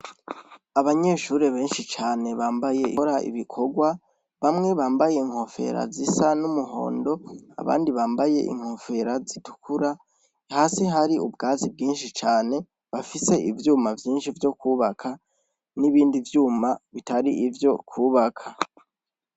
Abanyeshuri benshi cane bambaye inkora ibikorwa bamwe bambaye inkofera zisa n'umuhondo abandi bambaye inkofera zitukura hasi hari ubwatsi bwinshi cane bafise ivyuma vyinshi vyo kwubaka n'ibindi vyuma bitari ivyo kwubaka.